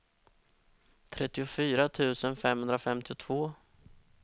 trettiofyra tusen femhundrafemtiotvå